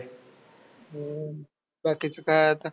हम्म बाकीचं काय आता.